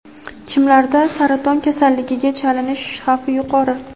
Kimlarda saraton kasalligiga chalinish xavfi yuqori?!.